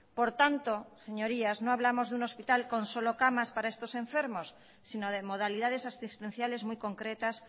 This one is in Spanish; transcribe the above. por tanto señorías no hablamos de un hospital con solo camas para estos enfermos sino de modalidades asistenciales muy concretas